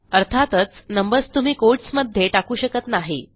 अर्थातच नंबर्स तुम्ही कोटस् मध्ये टाकू शकत नाही